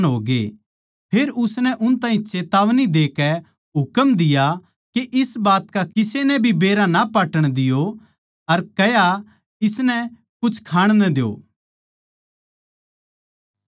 फेर उसनै उन ताहीं चेतावनी देकै हुकम दिया के इस बात का किसे नै भी बेरा ना पाट्टण दियो अर कह्या इसनै कुछ खाण नै द्यो